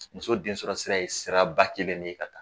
Muso densɔrɔ sira ye sira ba kelen de ye ka taa.